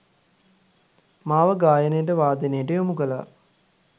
මාව ගායනයට වාදනයට යොමුකළා